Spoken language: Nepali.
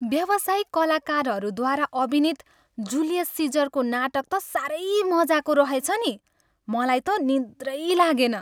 व्यावसायिक कलाकारहरूद्वारा अभिनित जुलियस सिजरको नाटक त साह्रै मजाको रहेछ नि, मलाई त निद्रै लागेन।